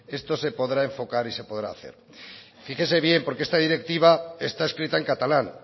esto se podrá enfocar y se podrá hacer fíjese bien porque esta directiva está escrita en catalán